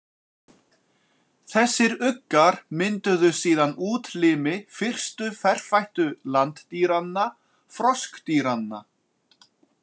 Þessir uggar mynduðu síðan útlimi fyrstu ferfættu landdýranna, froskdýranna.